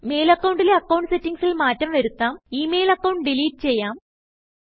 mail അക്കൌണ്ടിലെ account സെറ്റിംഗ്സിൽ മാറ്റം വരുത്താം ഇ മെയിൽ അക്കൌണ്ട് ഡിലീറ്റ് ചെയ്യാം